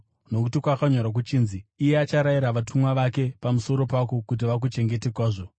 Nokuti kwakanyorwa kuchinzi: “ ‘Acharayira vatumwa vake pamusoro pako kuti vakuchengete kwazvo;